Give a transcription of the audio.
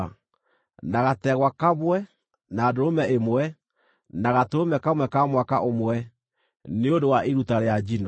na gategwa kamwe, na ndũrũme ĩmwe, na gatũrũme kamwe ka mwaka ũmwe, nĩ ũndũ wa iruta rĩa njino;